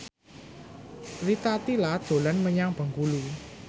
Rita Tila dolan menyang Bengkulu